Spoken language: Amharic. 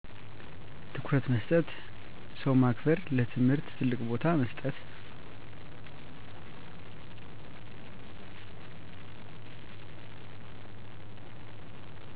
ትኩረት መስጠት ,ሰው ማክበር :ለትምህርት ትልቅ ቦታ መስጠት